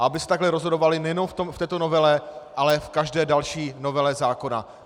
A aby se takhle rozhodovali nejenom v této novele, ale v každé další novele zákona.